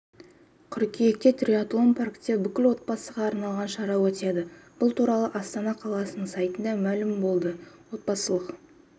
қыркүйекте триатлон паркте бүкіл отбасыға арналған шара өтеді бұл туралы астана қаласының сайтында мәлім болды отбасылық